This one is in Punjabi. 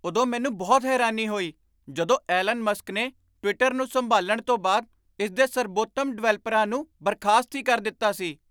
ਉਦੋਂ ਮੈਨੂੰ ਬਹੁਤ ਹੈਰਾਨੀ ਹੋਈ ਜਦੋਂ ਐਲਨ ਮਸਕ ਨੇ ਟਵਿੱਟਰ ਨੂੰ ਸੰਭਾਲਣ ਤੋਂ ਬਾਅਦ ਇਸ ਦੇ ਸਰਬੋਤਮ ਡਿਵੈਲਪਰਾਂ ਨੂੰ ਬਰਖ਼ਾਸਤ ਹੀ ਕਰ ਦਿੱਤਾ ਸੀ।